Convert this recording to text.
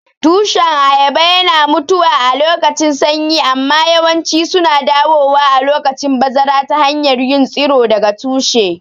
Tushen ayaba yana mutuwa alokacin sanyi amma yawanci suna dawowa a lokacin bazara ta hanyar yin tsiro daga tushe.